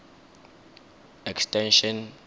extension